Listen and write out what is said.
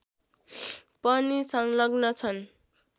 पनि संलग्न छन्